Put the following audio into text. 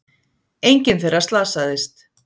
Enginn þeirra slasaðist